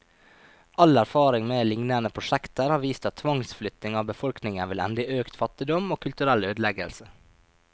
All erfaring med lignende prosjekter har vist at tvangsflytting av befolkningen vil ende i økt fattigdom, og kulturell ødeleggelse.